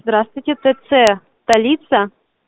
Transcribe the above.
здравствуйте тц столица